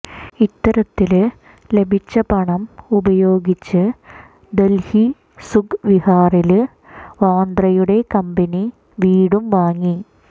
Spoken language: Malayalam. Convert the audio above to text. ഇത്തരത്തില് ലഭിച്ച പണം ഉപയോഗിച്ച് ദല്ഹി സുഖ് വിഹാറില് വാദ്രയുടെ കമ്പനി വീടും വാങ്ങി